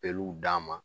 Peluw d'a ma